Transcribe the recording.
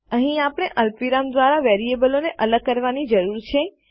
અહીં આપણે અલ્પવિરામ દ્વારા વેરીએબલોને અલગ કરવાની જરૂર છે